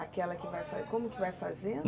Aquela que vai fazer, como que vai fazer?